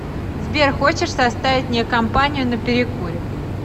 сбер хочешь составить мне компанию на перекуре